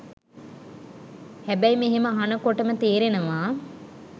හැබැයි මෙහෙම අහනකොටම තේරෙනවා